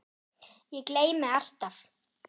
Ég gleymi alltaf.